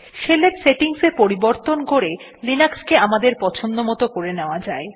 শেলের সেটিংস এ পরিবর্তন করে লিনাক্স কে আমাদের পছন্দমত করে নেওয়া যায়